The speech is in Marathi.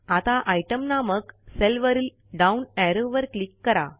आता आयटीईएम नामक सेलवरील डाउन एरो वर क्लिक करा